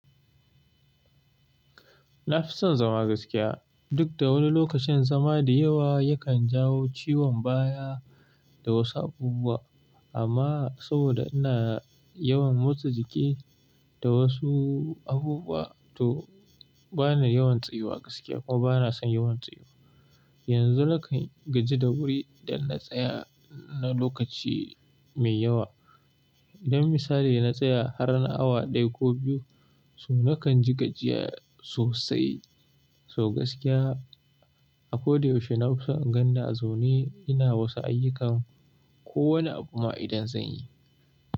Na fi son zama gaskiya duk da wani lokacin zama da yawa yakan jawo ciwon baya da wasu abubuwa amma saboda ina yawan motsa jiki da wasu abubuwa to bana yawan tsayuwa gaskiya kuma bana son yawan tsayuwa. Yanzu na kan gaji da wuri idan na tsaya na lokaci mai yawa. Don misali na tsaya har na awa ɗaya ko biyu, to na kan ji gajiya sosai. So gaskiya a ko da yaushe na fi son in ganni a zaune ina wasu ayyukan ko wani abu ma idan zan yi.